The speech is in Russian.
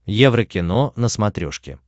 еврокино на смотрешке